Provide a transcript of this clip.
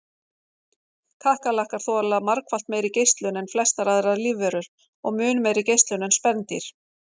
Kakkalakkar þola margfalt meiri geislun en flestar aðrar lífverur og mun meiri geislun en spendýr.